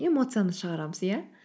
эмоциямызды шығарамыз иә